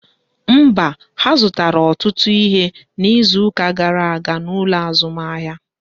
Mba, ha zụtara ọtụtụ ihe n'izuka gara aga n'ụlọ azụmahịa